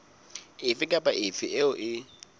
efe kapa efe eo e